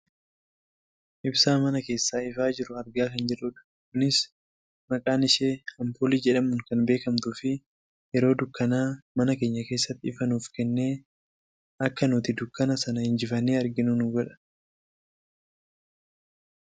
Ibsaa mana keessaa ifaa jiru argaa kan jirrudha. Kunis naqaan ishee ampuulii jedhamuun kan beekkamtuufi yeroo dukkanaa mana keenya keessatti ifa nuuf kennee akka nuti dukkana sana injifannee arginu nu godha.